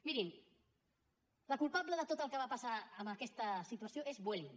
mirin la culpable de tot el que va passar amb aquesta situació és vueling